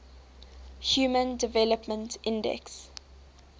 human development index